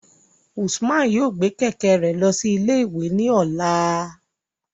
Usman yoo gbe kẹ̀kẹ́ rẹ lọ si ile-iwe ni ọla